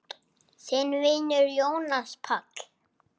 Þinn vinur, Jónas Páll.